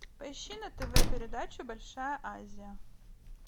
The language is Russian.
поищи на тв передачу большая азия